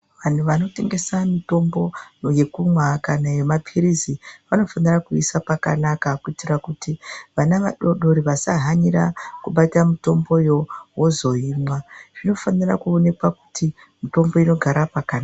Vantu vanotengesa mitombo yekumwa kana yema pirizi vanofanira kuyiisa pakanaka kuitira kuti vana vadodori vasa hanira kubata mitomboyo vozoimwa zvino fanira kuonekwa kuti mitombo inogara pakanaka .